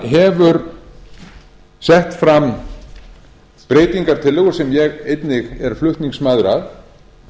gunnarsson hefur sett fram breytingartillögur sem ég einnig er flutningsmaður að